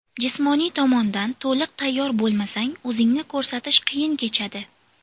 Jismoniy tomondan to‘liq tayyor bo‘lmasang, o‘zingni ko‘rsatish qiyin kechadi.